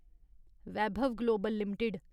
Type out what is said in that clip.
Vaibhav global limited